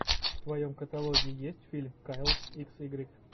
в твоем каталоге есть фильм кайл икс игрек